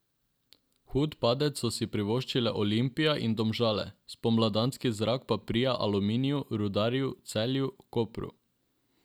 Hud padec so si privoščile Olimpija in Domžale, spomladanski zrak pa prija Aluminiju, Rudarju, Celju, Kopru ...